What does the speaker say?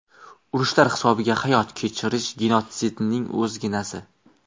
Urushlar hisobiga hayot kechirish genotsidning o‘zginasi.